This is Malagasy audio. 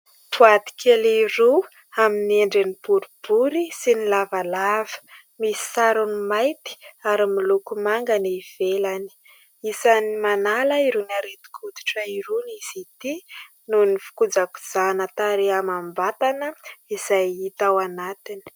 Boaty kely roa amin'ny endriny boribory sy lavalava. Misy sarony mainty ary miloko manga ny ivelany. Isany manala irony aretin-koditra irony izy ity noho ny fikojakojana tarehy amam-batana izay hita ao aminy.